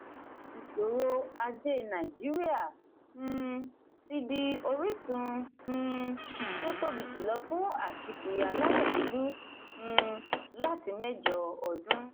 ìṣòro ajé nàìjíríà um ti di orísun um tí ó tóbi jùlọ fún aṣíkiri aláwọ̀ dúdú um láti mẹ́jọ ọdún.